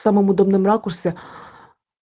самом удобном ракурсе